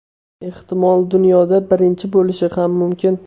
Ehtimol dunyoda birinchisi bo‘lishi ham mumkin.